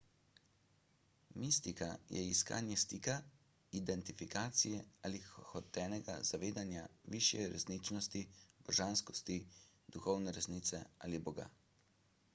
mistika je iskanje stika identifikacije ali hotenega zavedanja višje resničnosti božanskosti duhovne resnice ali boga